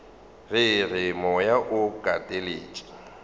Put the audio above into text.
re re moya o kateletšwe